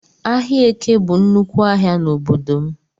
Ahịa Eke bụ nnúkwú ahịa n'obodo m